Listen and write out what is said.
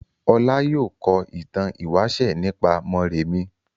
Ọlá yóò kọ ìtàn ìwáṣẹ̀ nípa Mórèmí.